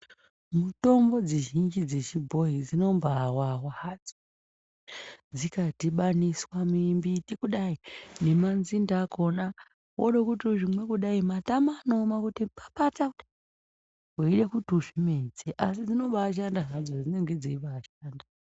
Mitombo dzizhinji dzechibhoyi dzinombawawa hadzo. Dzikadhibaniswa mimbiti kudai nemadzinde akona, wode kuti kuzvinwa kudai, unohwa matama kuoma kuti papata weida kuti udzimedze asi dzinabashanda dzinenge dzobaishanda hadzo.